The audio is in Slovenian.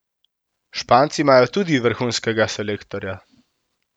Španci imajo tudi vrhunskega selektorja.